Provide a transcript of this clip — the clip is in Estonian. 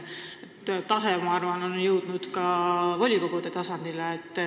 See tase, ma arvan, on jõudnud ka volikogude tasandile.